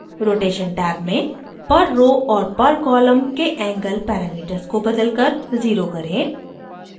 rotation tab में per row और per column के angle पैरामीटर्स को बदलकर 0 करें